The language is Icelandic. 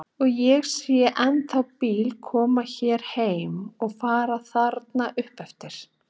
Og ég sé ennþá bíla koma hér heim og fara þarna upp eftir.